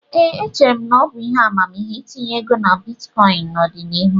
Ee, echere m na ọ bụ ihe amamihe itinye ego na bitkọịn n'ọdịnihu.